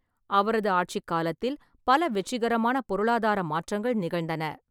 அவரது ஆட்சிக் காலத்தில் பல வெற்றிகரமான பொருளாதார மாற்றங்கள் நிகழ்ந்தன.